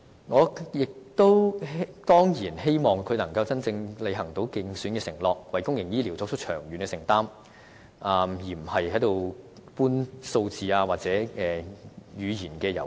我亦當然希望她可以履行其競選承諾，為公營醫療作長遠承擔，而非只搬弄數字或玩語言遊戲。